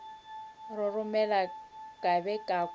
roromela ka be ka kwa